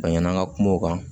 A ɲɛna an ka kuma o kan